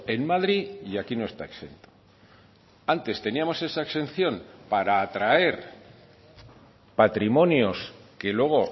en madrid y aquí no está exento antes teníamos esa exención para atraer patrimonios que luego